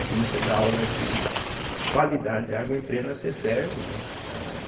Aí comecei a dar aula de qualidade de água e entrei na cêtésbe, né.